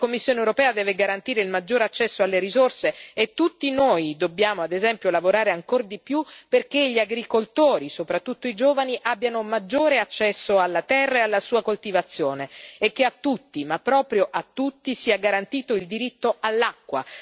La Commissione europea deve garantire il maggiore accesso alle risorse e tutti noi dobbiamo, ad esempio, lavorare ancor di più perché gli agricoltori, soprattutto i giovani, abbiano maggiore accesso alla terra e alla sua coltivazione e che a tutti, ma proprio a tutti, sia garantito il diritto all'acqua.